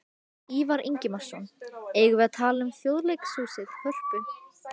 Ívar Ingimarsson: Eigum við að tala um Þjóðleikhúsið, Hörpu?